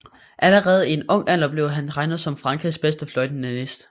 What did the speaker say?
Allerede i en ung alder blev han regnet som Frankrigs bedste fløjtenist